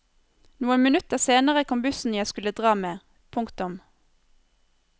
Noen minutter senere kom bussen jeg skulle dra med. punktum